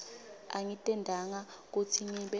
angitentanga kutsi ngibe